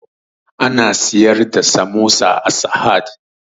Ana siyar da samosa a sahad